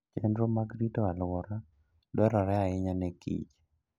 Chenro mag rito alwora dwarore ahinya ne kich